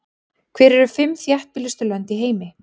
Hver eru fimm þéttbýlustu lönd í heimi?